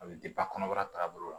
A bɛ kɔnɔbara taaga bolo la